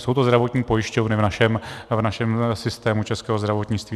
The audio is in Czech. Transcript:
Jsou to zdravotní pojišťovny v našem systému českého zdravotnictví.